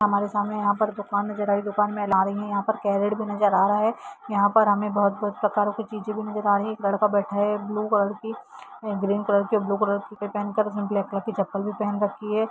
हमारे सामने यहाँ पर दूकान नज़र आ रही है दूकान में अलग अलग तरह की चीजे नज़र आ रही है यह पर क्यारट भी नज़र आ रहा है यहाँ पर हमें बहुत कुछ प्रकारो की चीजे भी नज़र आ रहा है एक लड़का बैठा हैब्लू कलर की ग्रीन कलर की ब्लू कलर की कपड़े पहन कर उसने ब्लैक कलर की चप्पल भी पहनी है।